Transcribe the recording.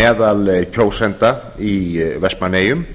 meðal kjósenda í vestmannaeyjum